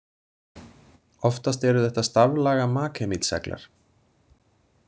Oftast eru þetta staflaga maghemít-seglar.